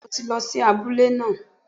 Bẹ́ẹ̀ni mo ti lọ si abúlé náà